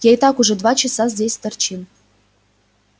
я и так уже два часа здесь торчим